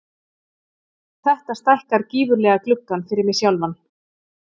Þetta stækkar gífurlega gluggann fyrir mig sjálfan.